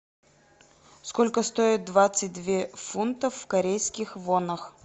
сколько стоит двадцать две фунтов в корейских вонах